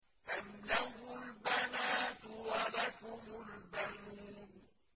أَمْ لَهُ الْبَنَاتُ وَلَكُمُ الْبَنُونَ